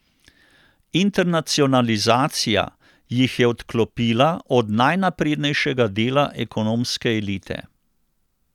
Internacionalizacija jih je odklopila od najnaprednejšega dela ekonomske elite.